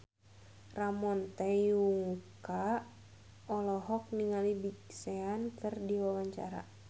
Ramon T. Yungka olohok ningali Big Sean keur diwawancara